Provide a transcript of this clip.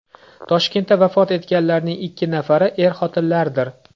Toshkentda vafot etganlarning ikki nafari er-xotinlardir.